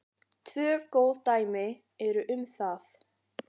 Tvö góð dæmi eru um það.